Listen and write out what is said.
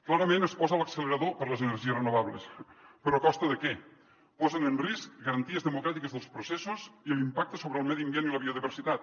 clarament es posa l’accelerador per a les energies renovables però a costa de què posen en risc garanties democràtiques dels processos i l’impacte sobre el medi ambient i la biodiversitat